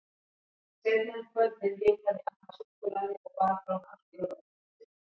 Seinna um kvöldið hitaði amma súkkulaði og bar fram allt jólabakkelsið.